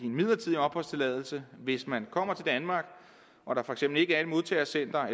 en midlertidig opholdstilladelse hvis man kommer til danmark og der for eksempel ikke er et modtagecenter